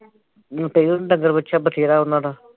ਲੁੱਟੋ ਜੋ ਤੇ ਡੰਗਰ ਬੱਛਾ ਵਧੇਰਾ ਉਹਨਾਂ ਦਾ